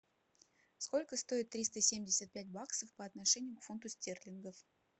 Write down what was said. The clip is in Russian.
сколько стоит триста семьдесят пять баксов по отношению к фунту стерлингов